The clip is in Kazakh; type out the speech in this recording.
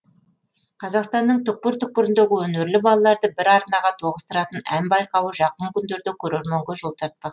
қазақстанның түкпір түкпіріндегі өнерлі балаларды бір арнаға тоғыстыратын ән байқауы жақын күндерде көрерменге жол тартпақ